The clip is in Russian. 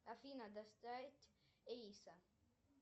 афина доставить эйса